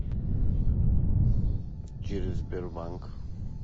через сбербанк